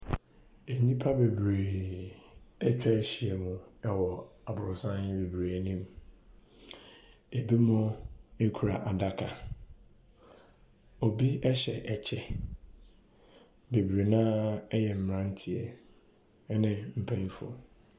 Nipa bebree ɛtwa hyia mu ɛwɔ aborosan bebree anim ebi mu kuta adaka obi hyɛ kyɛw bebree na yɛ mmaranteɛ ɛna panyinfoɔ.